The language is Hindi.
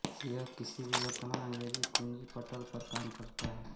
यह किसी भी वर्तमान अंग्रेजी कुँजीपटल पर काम करता है